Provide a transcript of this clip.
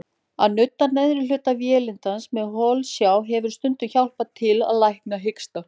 Að nudda neðri hluta vélindans með holsjá hefur stundum hjálpað til að lækna hiksta.